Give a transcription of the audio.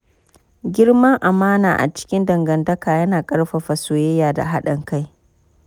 Girman amana a cikin dangantaka yana ƙarfafa soyayya da haɗin kai.